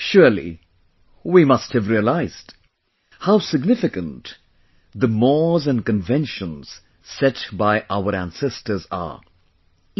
Surely, we must have realised, how significant the mores and conventions set by our ancestors are...